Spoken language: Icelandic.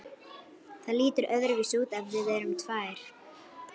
Það lítur öðruvísi út ef við erum tvær.